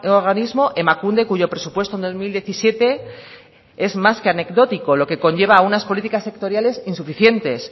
organismo emakunde cuyo presupuesto en dos mil diecisiete es más que anecdótico lo que conlleva a unas políticas sectoriales insuficientes